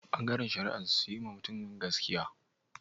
Bangaren shari'an sun yi ma mutumin gaskiya?